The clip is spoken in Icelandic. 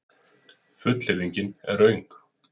Fullyrðingin er röng.